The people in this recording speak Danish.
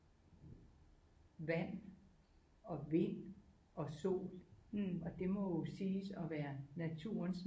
Vand og vind og sol og det må jo siges at være naturens